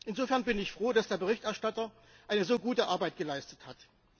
Insofern bin ich froh, dass der Berichterstatter eine so gute Arbeit geleistet hat.